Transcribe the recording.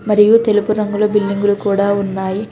మరియు తెలుపు రంగుల బిల్డింగులు కూడా ఉన్నాయి.